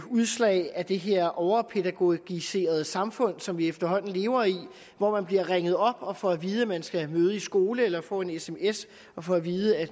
udslag af det her overpædagogiserede samfund som vi efterhånden lever i hvor man bliver ringet op og får at vide at man skal møde i skole eller får en sms og får at vide at